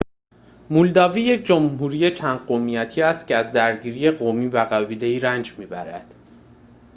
مولداوی یک جمهوری چند قومیتی است که از درگیری قومی و قبیله‌ای رنج می‌برد